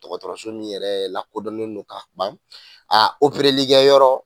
dɔgɔtɔrɔso min yɛrɛ lakodɔnnen don ka ban likɛ yɔrɔ